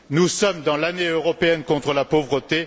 Nous sommes dans l'année européenne contre la pauvreté.